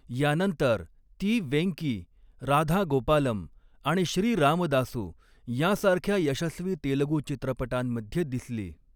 यानंतर, ती वेंकी, राधा गोपालम आणि श्री रामदासू यांसारख्या यशस्वी तेलुगू चित्रपटांमध्ये दिसली.